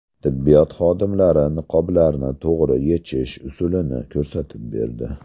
Tibbiyot xodimlari niqoblarni to‘g‘ri yechish usulini ko‘rsatib berdi .